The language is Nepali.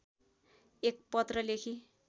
एक पत्र लेखी